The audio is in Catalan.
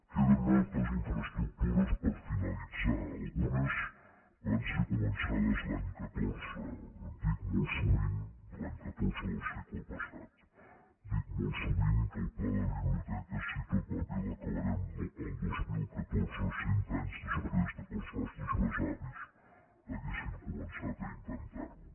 queden moltes infraestructures per finalitzar algunes van ser començades l’any catorze l’any catorze del segle passat dic molt sovint que el pla de biblioteques si tot va bé l’acabarem el dos mil catorze cent anys després que els nostres besavis haguessin començat a intentar ho